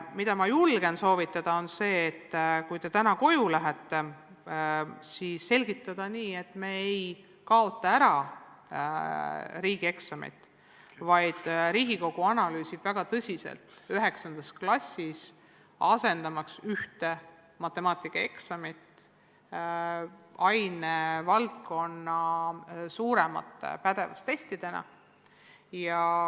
Ma julgen teile soovitada, et kui te täna koju lähete, siis selgitage asja nii, et me ei kaota riigieksameid ära, vaid Riigikogu analüüsib väga tõsiselt, kas asendada 9. klassis matemaatikaeksam ainevaldkonna suuremate pädevustestidega.